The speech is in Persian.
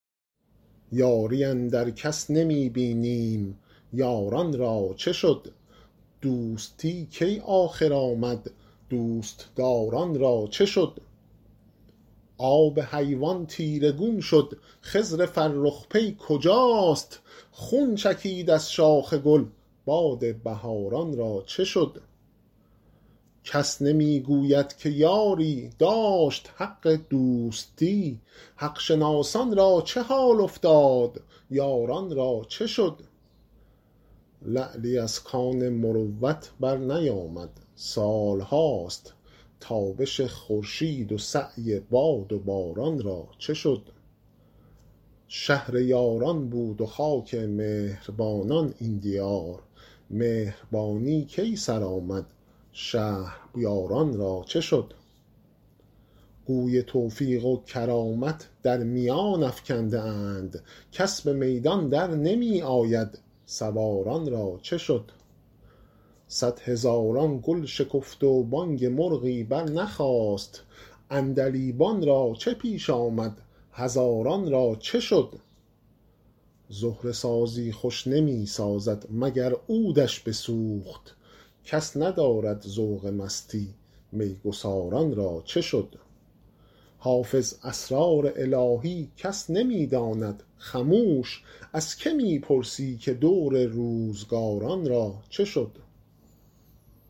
یاری اندر کس نمی بینیم یاران را چه شد دوستی کی آخر آمد دوست دار ان را چه شد آب حیوان تیره گون شد خضر فرخ پی کجاست خون چکید از شاخ گل باد بهار ان را چه شد کس نمی گوید که یاری داشت حق دوستی حق شناسان را چه حال افتاد یاران را چه شد لعلی از کان مروت برنیامد سال هاست تابش خورشید و سعی باد و باران را چه شد شهر یاران بود و خاک مهر بانان این دیار مهربانی کی سر آمد شهریار ان را چه شد گوی توفیق و کرامت در میان افکنده اند کس به میدان در نمی آید سوار ان را چه شد صدهزاران گل شکفت و بانگ مرغی برنخاست عندلیبان را چه پیش آمد هزاران را چه شد زهره سازی خوش نمی سازد مگر عود ش بسوخت کس ندارد ذوق مستی می گسار ان را چه شد حافظ اسرار الهی کس نمی داند خموش از که می پرسی که دور روزگار ان را چه شد